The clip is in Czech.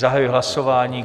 Zahajuji hlasování.